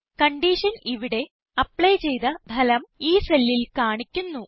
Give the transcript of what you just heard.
condition ഇവിടെ apply ചെയ്ത ഫലം ഈ സെല്ലിൽ കാണിക്കുന്നു